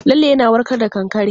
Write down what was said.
Lalle yana warka da kankare.